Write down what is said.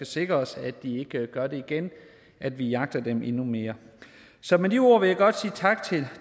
sikret os at de ikke gør det igen at vi jagter dem endnu mere så med de ord vil jeg godt sige tak til